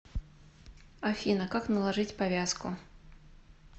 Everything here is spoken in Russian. афина как наложить повязку